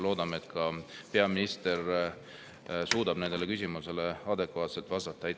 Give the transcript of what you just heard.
Loodame, et peaminister suudab nendele küsimustele adekvaatselt vastata.